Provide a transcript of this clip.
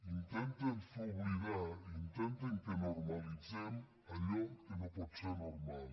intenten fer oblidar intenten que normalitzem allò que no pot ser normal